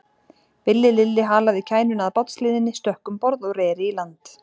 Villi Lilli halaði kænuna að bátshliðinni, stökk um borð og reri í land.